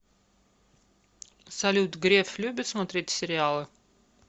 салют греф любит смотреть сериалы